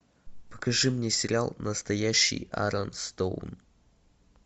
покажи мне сериал настоящий арон стоун